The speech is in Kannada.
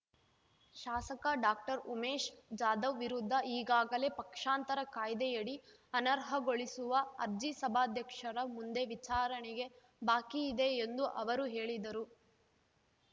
ಶಾಸಕ ಡಾಕ್ಟರ್ ಉಮೇಶ್ ಜಾಧವ್ ವಿರುದ್ಧ ಈಗಾಗಲೇ ಪಕ್ಷಾಂತರ ಕಾಯ್ದೆಯಡಿ ಅನರ್ಹಗೊಳಿಸುವ ಅರ್ಜಿ ಸಭಾಧ್ಯಕ್ಷರ ಮುಂದೆ ವಿಚಾರಣೆಗೆ ಬಾಕಿ ಇದೆ ಎಂದು ಅವರು ಹೇಳಿದರು